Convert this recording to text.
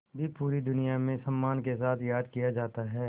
भी पूरी दुनिया में सम्मान के साथ याद किया जाता है